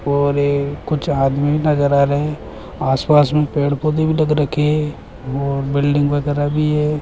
और ये कुछ आदमी नजर आ रहे हैं कुछ आस-पास में पेड़-पौधे भी लग रखे हैं और बिल्डिंग वगैरह भी है।